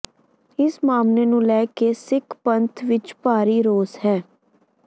ਇਸ ਮਾਮਲੇ ਨੂੰ ਲੈ ਕੇ ਸਿੱਖ ਪੰਥ ਵਿੱਚ ਭਾਰੀ ਰੋਸ ਹੈ